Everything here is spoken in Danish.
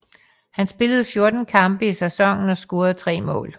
Han spillede 14 kampe i sæsonen og scorede tre mål